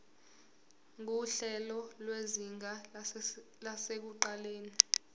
nguhlelo lwezinga lasekuqaleni